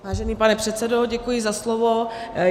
Vážený pane předsedo, děkuji za slovo.